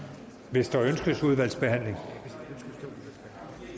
hvis der ønskes udvalgsbehandling